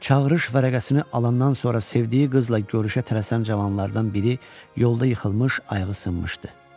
Çağırış vərəqəsini alandan sonra sevdiyi qızla görüşə tələsən cavanlardan biri yolda yıxılmış, ayıqı sınmışdı.